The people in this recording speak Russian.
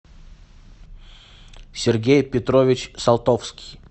сергей петрович салтовский